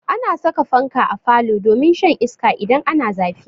Ana saka fanka a falo domin shan iska idan ana zafi.